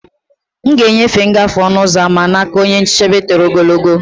M ga-enyefe ngafe ọnụ ụzọ ámá n'aka onye nchebe toro ogologo.